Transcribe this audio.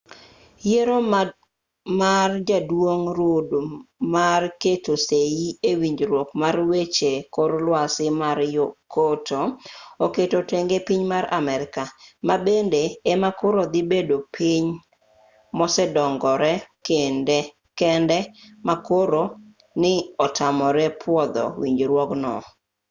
yiero mar jaduong' rudd mar keto sei e winjruok mar weche kor lwasi mar kyoto oketo tenge piny mar amerka ma bende ema koro dhi bedo piny mosedongore kende ma koro ni otamore pwodho winjruogno